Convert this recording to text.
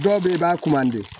Dɔw bɛ yen i b'a